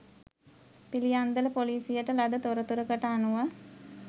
පිළියන්දල ‍පොලීසියට ලද තොරතුරකට අනුව